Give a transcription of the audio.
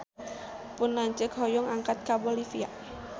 Pun lanceuk hoyong angkat ka Bolivia